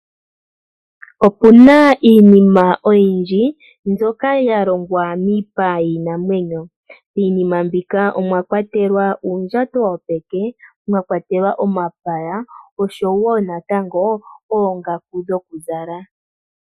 Oku na iinima oyindji mbyoka ya longwa miipa yiinamwenyo. Miinima mbika omwa kwatelwa uundjato wopeke, mwa kwatelwa omapaya, osho wo natango oongaku dhokuzala.